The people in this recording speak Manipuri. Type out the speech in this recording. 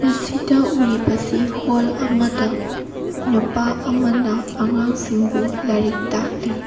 ꯃꯁꯤꯗ ꯎꯔꯤꯕꯁꯤ ꯍꯣꯜ ꯑꯃꯗ ꯅꯨꯄꯥ ꯑꯃꯅ ꯑꯉꯥꯡ ꯁꯤꯡꯕꯨ ꯂꯥꯏꯔꯤꯛ ꯇꯥꯛꯂꯤ꯫